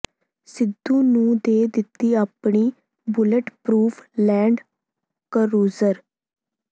ਸਿੱਧੂ ਨੂੰ ਦੇ ਦਿੱਤੀ ਆਪਣੀ ਬੁਲੇਟ ਪਰੂਫ ਲੈਂਡ ਕਰੂਜ਼ਰ